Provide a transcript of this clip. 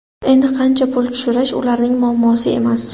Endi qancha pul tushirish ularning muammosi emas.